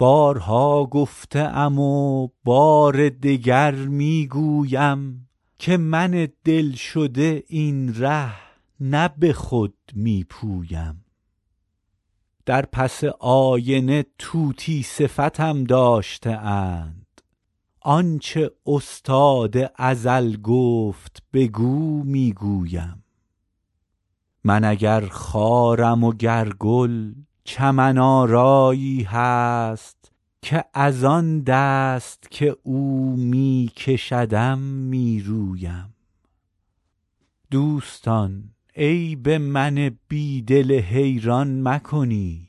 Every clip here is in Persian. بارها گفته ام و بار دگر می گویم که من دل شده این ره نه به خود می پویم در پس آینه طوطی صفتم داشته اند آن چه استاد ازل گفت بگو می گویم من اگر خارم و گر گل چمن آرایی هست که از آن دست که او می کشدم می رویم دوستان عیب من بی دل حیران مکنید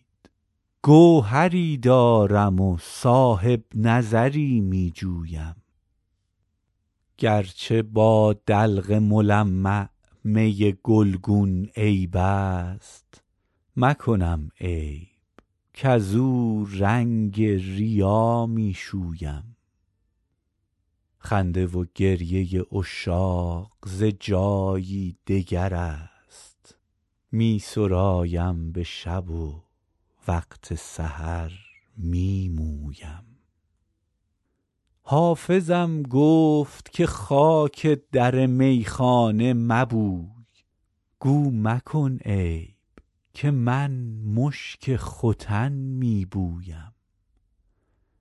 گوهری دارم و صاحب نظری می جویم گر چه با دلق ملمع می گلگون عیب است مکنم عیب کزو رنگ ریا می شویم خنده و گریه عشاق ز جایی دگر است می سرایم به شب و وقت سحر می مویم حافظم گفت که خاک در میخانه مبوی گو مکن عیب که من مشک ختن می بویم